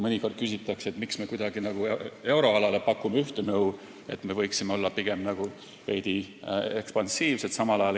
Mõnikord küsitakse, miks me pakume euroalale ühte nõu, aga Eestile samal ajal natuke teistsugust nõu – me võiksime olla pigem veidi ekspansiivsemad.